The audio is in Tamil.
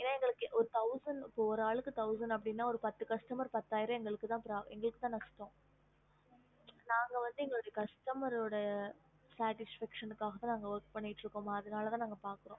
என எங்களுக்குஒரு ஆளுக்கு thousand அப்டினா மொத்தம் பத்துஆளுக்கு பத்தாயிரம் அந்தமாரி எங்களுக்குதா நஷ்டம் நாங்க வந்து எங்க coustmer sdertification work பண்ணிட்டு இருக்கோம்